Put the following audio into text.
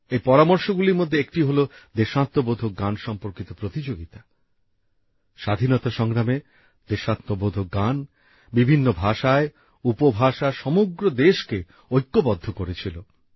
এই পরামর্শগুলির মধ্যে একটি হলো দেশাত্মবোধক গান সম্পর্কিত প্রতিযোগিতা স্বাধীনতা সংগ্রামে দেশাত্মবোধক গান বিভিন্ন ভাষায় উপভাষা সমগ্র দেশকে ঐক্যবদ্ধ করেছিল